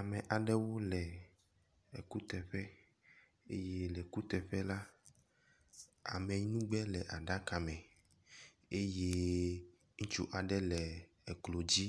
Ame aɖewo le ekuteƒe eye le kuteƒe la, ameyinugbe le aɖaka me eye ŋutsu aɖe le eklo dzi